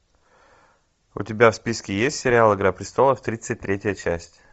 у тебя в списке есть сериал игра престолов тридцать третья часть